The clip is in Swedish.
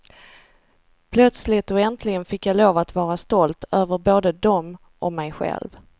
Plötsligt och äntligen fick jag lov att vara stolt, över både dem och mig själv.